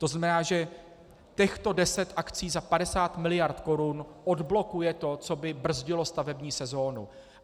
To znamená, že těchto deset akcí za 50 miliard korun odblokuje to, co by brzdilo stavební sezonu.